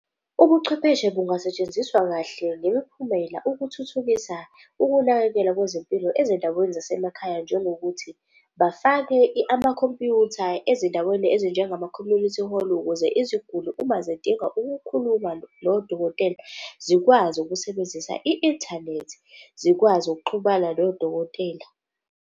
Ubuchwepheshe bungasetshenziswa kahle ngemiphumela ukuthuthukisa ukunakekelwa kwezimpilo ezindaweni zasemakhaya njengokuthi bafake amakhompyutha ezindaweni ezinjengama-community hall ukuze iziguli uma zidinga ukukhuluma nodokotela zikwazi ukusebenzisa i-inthanethi, zikwazi ukuxhumana nodokotela.